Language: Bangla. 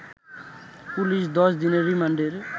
পুলিশ ১০ দিনের রিমান্ডের